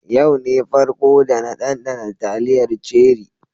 Yau ne farko da na danɗana taliyar ceri.